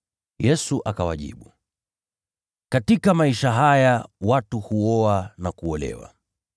Yesu akawajibu, “Katika maisha haya watu huoa na kuolewa.